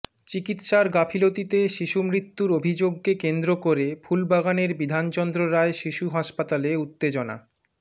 চিকিত্সার গাফিলতিতে শিশুমৃত্যুর অভিযোগকে কেন্দ্র করে ফুলবাগানের বিধানচন্দ্র রায় শিশু হাসপাতালে উত্তেজনা